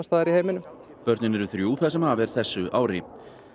staðar í heiminum börnin eru þrjú það sem af er þessu ári